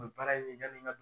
N baara in ye ŋani ŋa d